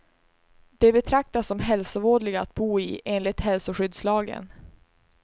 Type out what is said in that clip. De betraktas som hälsovådliga att bo i, enligt hälsoskyddslagen.